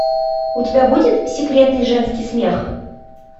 у тебя будет секретный женский смех